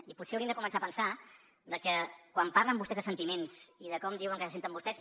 i potser haurien de començar a pensar que quan parlen vostès de sentiments i de com diuen que se senten vostès